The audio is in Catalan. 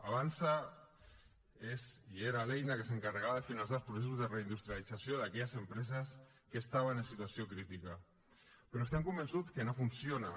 avançsa és i era l’eina que s’encarregava de finançar els processos de reindustrialització d’aquelles empreses que estaven en situació crítica però estem convençuts que no funciona